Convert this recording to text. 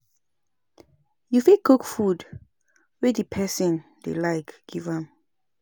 You fit cook food wey di person dey like give am